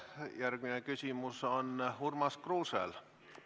Järgmine küsimus on Urmas Kruusel.